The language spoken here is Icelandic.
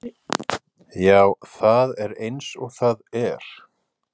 Já, það er eins og það er.